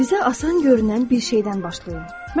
Sizə asan görünən bir şeydən başlayın.